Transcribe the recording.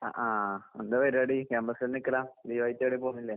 അ ആഹ്. എന്താ പരിപാടി, ക്യാമ്പസ്സിൽ നിക്കലാ? ലീവായിട്ടെവടേം പോക്ന്നില്ലേ?